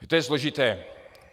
To je složité.